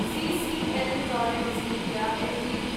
CCL products India Ltd